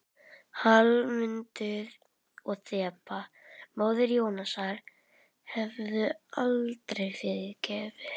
Hallmundur og Þeba, móðir Jónasar, hefðu aldrei fyrirgefið henni.